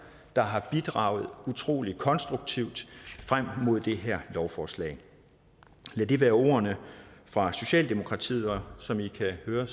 der har bidraget utrolig konstruktivt frem mod det her lovforslag lad det være ordene fra socialdemokratiet og som i kan høre